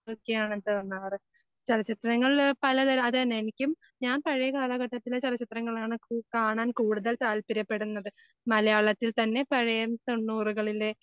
ഒക്കെ ആണ് തോന്നാറ്. ചലച്ചിത്രങ്ങള് പലതരം അത് തന്നെ എനിക്കും ഞാൻ പഴയ കാലഘട്ടത്തിലെ ചലച്ചിത്രങ്ങളാണ് കൂ കാണാൻ കൂടുതൽ താൽപര്യപ്പെടുന്നത്. മലയാളത്തിൽ തന്നെ പഴയ തൊണ്ണൂറുകളിലെ